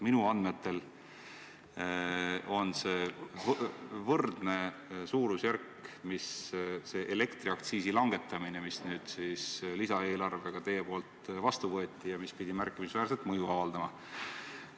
Minu andmetel on see suurusjärgus võrdne elektriaktsiisi langetamise mõjuga, mille te nüüd lisaeelarvega vastu võtsite ja mis pidi märkimisväärne olema.